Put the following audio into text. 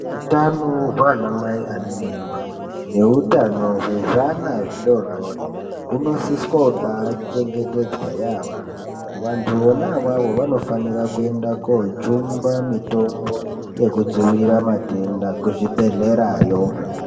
Hutano hwana Mai ane mimba nehutano hwezvana zvidodori hunosiswa kubachengetedzwa yambo vantu vona ivavo vanofanira kuenda kojungwa mitombo yekudzivirira matenda kuzvibhedhlerayo.